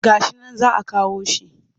Ga shi nan za a kawo shi